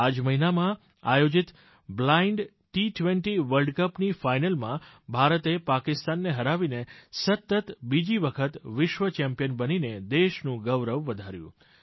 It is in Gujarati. આ જ મહિનામાં આયોજિત બ્લાઈંડ ટી20 વર્લ્ડ કપની ફાઈનલમાં ભારતે પાકિસ્તાનને હરાવીને સતત બીજી વખત વિશ્વ ચેમ્પિયન બનીને દેશનું ગૌરવ વધાર્યું